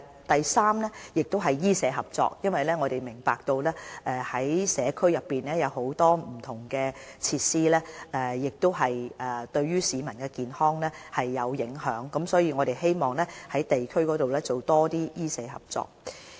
第三是醫社合作，我們明白社區內有很多不同設施會影響市民的健康，所以我們希望在地區上多進行一些醫社合作。